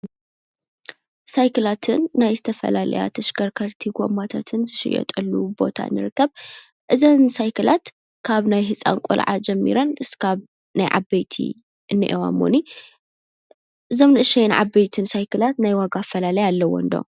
ሳይክላትን ናይ ዝተፈላለያ ተሽከርከርትን ጎማታትን ዝሽየጠሉ ቦታ ንርከብ፡፡ እዘን ሳይክላት ካብ ናይ ህፃን ቆልዓ ጀሚረን ክሳብ ናይ ዓበይቲ እንኒኤዋሞኒ እዞም ንእሽተይን ዓበይትን ሳይክላት ናይ ዋጋ ኣፈላላይ ኣለም ዶ?